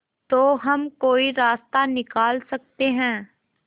तो हम कोई रास्ता निकाल सकते है